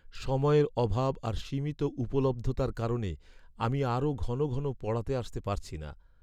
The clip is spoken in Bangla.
সময়ের অভাব আর সীমিত উপলব্ধতার কারণে আমি আরও ঘন ঘন পড়াতে আসতে পারছি না।